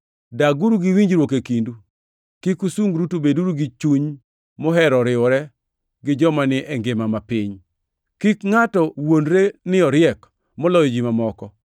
Daguru gi winjruok e kindu. Kik usungru, to beduru gi chuny mohero riwore gi joma ni e ngima mapiny. Kik ngʼato wuondre ni oriek moloyo ji mamoko.